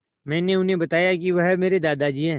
मैंने उन्हें बताया कि वह मेरे दादाजी हैं